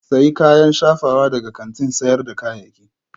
Sayi kayan shafawa daga kantin sayar da kayayyaki